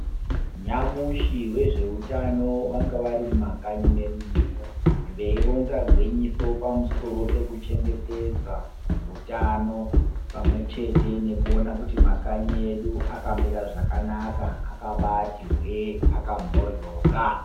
Nyamushi wezveutano vanga vari mumakanyi mwedu muno veironza gwinyiso pamusoro pekuchengetedza utano, pamwechete nekuona kuti makanyi edu akamira zvakanaka, akabati hwee akamhoryoka.